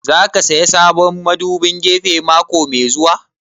Za ka saya sabon madubin gefe mako mai zuwa?